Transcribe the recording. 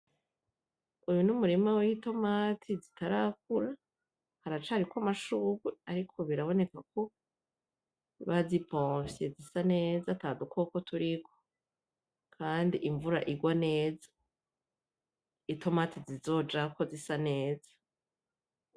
Uyu numurima w'itomati zitarakura haracariko amashurwe ariko biraboneka ko bazipompye zisa neza atadukoko turiko, kandi imvura igwa neza ,itomati zizojako zisa neza .